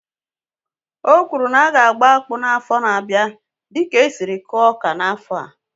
Ọ kwụrụ na aga agba akpụ n'afọ n'abia dịka esiri kụọ ọka n'afọ a